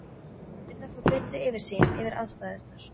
Hann yrði að fá betri yfirsýn yfir aðstæðurnar.